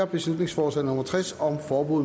beslutningsforslag nummer b tres